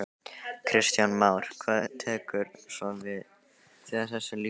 Kristján Már: Hvað tekur svo við þegar þessu lýkur?